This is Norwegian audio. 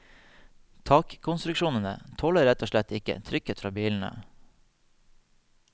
Takkonstruksjonene tåler rett og slett ikke trykket fra bilene.